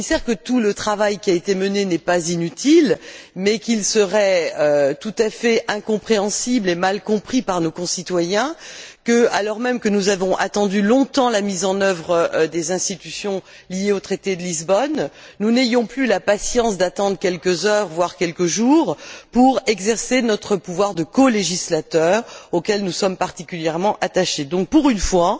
le commissaire que tout le travail qui a été mené n'est pas inutile, mais qu'il serait tout à fait incompréhensible et mal compris par nos concitoyens que, alors même que nous avons attendu longtemps la mise en œuvre des institutions liées au traité de Lisbonne, nous n'ayons plus la patience d'attendre quelques heures, voire quelques jours, pour exercer notre pouvoir de colégislateur, auquel nous sommes particulièrement attachés. Pour une fois